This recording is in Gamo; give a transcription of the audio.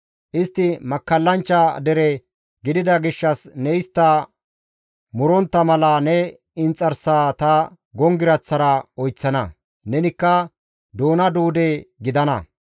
Istti makkallanchcha dere gidida gishshas ne istta murontta mala ne inxarsaa ta gonggiraththara oyththana; nenikka doona duude gidana.